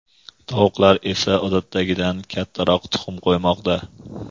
tovuqlar esa odatdagidan kattaroq tuxum qo‘ymoqda.